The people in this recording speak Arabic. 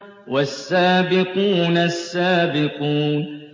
وَالسَّابِقُونَ السَّابِقُونَ